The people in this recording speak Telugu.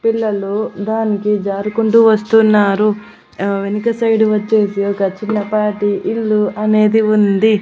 పిల్లలు దానికి జారుకుంటూ వస్తున్నారు వెనక సైడ్ వచ్చేసి ఒక చిన్నపాటి ఇల్లు అనేది ఉంది.